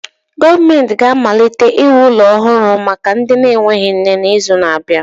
Gọọmentị ga-amalite iwu ụlọ ọhụrụ na-enweghị nne n'izu na-abịa.